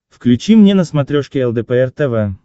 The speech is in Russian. включи мне на смотрешке лдпр тв